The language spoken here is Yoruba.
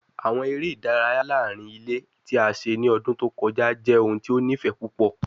Awọn ere idaraya laarin ile ti a ṣe ni ọdun to kọja jẹ ohun ti o nifẹ pupọ